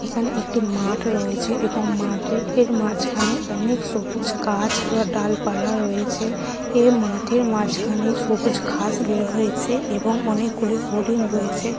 এখানে একটি মাঠ রয়েছে এবং মাঠে এর মাঝখানে অনেক সবুজ গাছ বা ডালপালা রয়েছে এ মাঠের মাঝখানে সবুজ ঘাস বের হয়েছে এবং অনেকগুলি হরিণ রয়েছে।